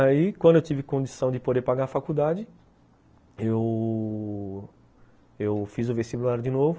Aí, quando eu tive condição de poder pagar a faculdade, eu... eu fiz o vestibular de novo.